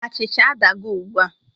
Achịcha adago ugbua